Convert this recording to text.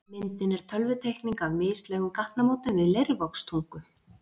Myndin er tölvuteikning af mislægum gatnamótum við Leirvogstungu.